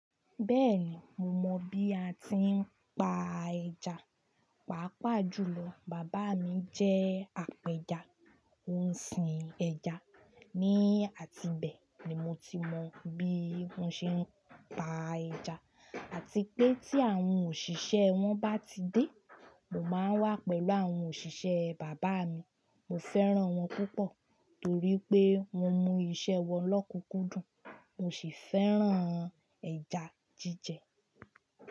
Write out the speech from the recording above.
Bẹ́ẹ̀ni mo mọ bí a tí ń pa ẹja, pàápàá jùlọ bàbá mi jẹ́ apẹja, ó ń sin ẹja, ní àti ibẹ̀ ni mo ti mọ bí wọ́n ṣe ń pa ẹja àti pé tí àwọn òṣìṣẹ́ wọn bá ti dé, mo máa ń wà pẹ̀lú àwọn òṣìṣẹ́ bàbá mi. Mo fẹ́ràn wọn púpọ̀ torí pé wọ́n mú iṣẹ́ wọn lọ́kùnkún dùn. Mo sì fẹ́ràn ẹja jíjẹ.